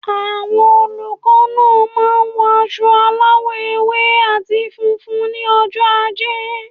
Àwon olùkó náà máa n wo aso aláwò ewé àti funfun ní ojó ajé